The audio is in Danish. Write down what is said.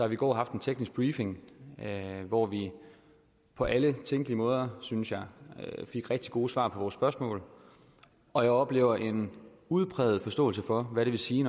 i går en teknisk briefing hvor vi på alle tænkelige måder synes jeg fik rigtig gode svar på vores spørgsmål og jeg oplever en udpræget forståelse for hvad det vil sige